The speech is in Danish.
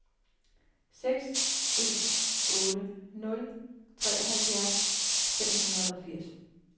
seks en otte nul treoghalvfjerds fem hundrede og firs